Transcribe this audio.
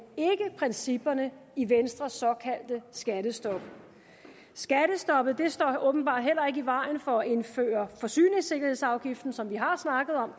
ikke principperne i venstres såkaldte skattestop skattestoppet står åbenbart heller i vejen for at indføre forsyningssikkerhedsafgiften som vi har snakket om